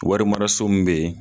Warimaraso min be yen